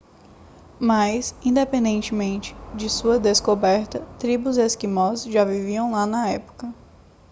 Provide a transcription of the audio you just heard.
mas independente de sua descoberta tribos esquimós já viviam lá na época